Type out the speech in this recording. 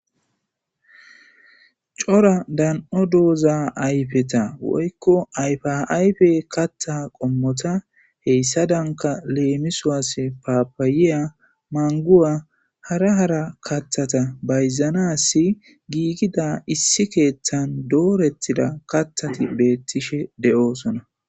Cora dan'o doza ayfeta woyko ayfa ayfeta katha qommota hesadanika lemiso baribariya maniguwa hara hara kathata gigida issi kethani betishe deyosona